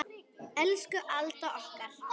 Elsku Alda okkar.